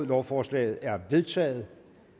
lovforslaget er vedtaget